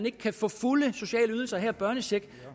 ikke kan få fulde sociale ydelser her eksempelvis børnecheck